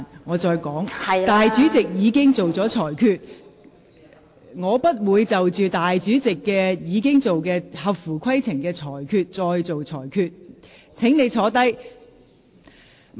我重申，主席已作出裁決，裁定有關議案合乎規程，我不會另行作出裁決，請坐下。